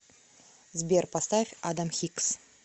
сбер поставь адам хикс